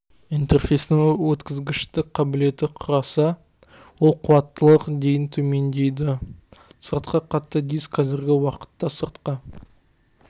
интерфейстің өткізгіштік қабілеті құраса ал қуаттылық дейін төмендейді сыртқы қатты диск қазіргі уақытта сыртқы